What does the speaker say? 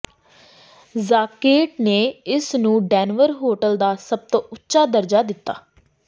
Zagat ਨੇ ਇਸਨੂੰ Denver hotel ਦਾ ਸਭ ਤੋਂ ਉੱਚਾ ਦਰਜਾ ਦਿੱਤਾ